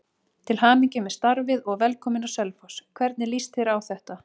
Til hamingju með starfið og velkominn á Selfoss, hvernig lýst þér á þetta?